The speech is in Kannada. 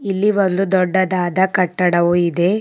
ಇಲ್ಲಿ ಒಂದು ದೊಡ್ಡದಾದ ಕಟ್ಟಡವು ಇದೆ.